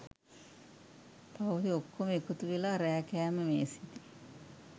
පවුලෙ ඔක්කොම එකතු වෙලා රෑ කෑම මේසෙදි